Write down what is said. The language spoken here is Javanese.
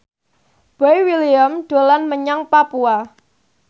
Boy William dolan menyang Papua